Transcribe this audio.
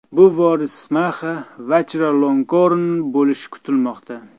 Bu voris Maxa Vachiralongkorn bo‘lishi kutilmoqda.